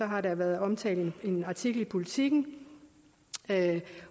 har været omtalt en artikel i politiken